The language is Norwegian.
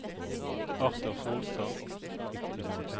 Arthur Solstad